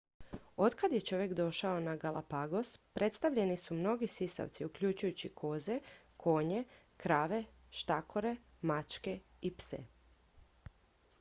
otkad je čovjek došao na galapagos predstavljeni su mnogi sisavci uključujući koze konje krave štakore mačke i pse